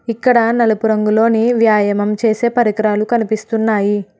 ఇక్కడ నలుపు రంగులోని వ్యాయామం చేసే పరికరాలు కనిపిస్తున్నాయి.